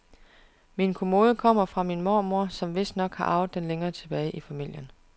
Min kommode kommer fra min mormor, som vistnok har arvet den længere tilbage i familien.